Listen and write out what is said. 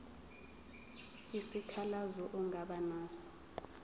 isikhalazo ongaba naso